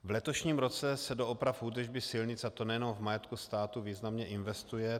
V letošním roce se do oprav údržby silnic, a to nejenom v majetku státu, významně investuje.